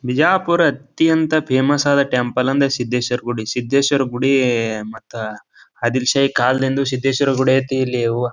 ಬಿಜಾಪುರ ಅತ್ಯಂತ ಫೇಮಸ್ ಆದ ಟೆಂಪಲ್ ಅಂದ್ರೆ ಸಿದ್ದೇಶವರ್ ಗುಡಿ ಸಿದ್ದೇಶ್ವರ್ ಗುಡೀ ಮತ್ತೆ ಆದಿಲ್ ಶಾಹಿ ಕಾಲದಿಂದಾನು ಸಿದ್ದೇಶ್ವರ ಗುಡಿ ಐತಿ ಇಲ್ಲಿ ಯವ್ವ.